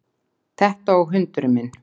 Þetta og hundurinn minn